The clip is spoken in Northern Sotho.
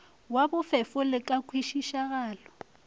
wo bofefo le ka kwešišagalo